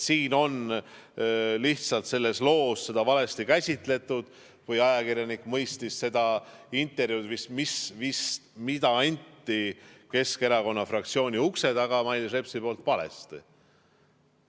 Seda on lihtsalt selles loos valesti käsitletud, ajakirjanik mõistis seda intervjuud, mida andis Mailis Reps Keskerakonna fraktsiooni ukse taga, valesti.